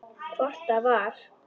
Hvort það var!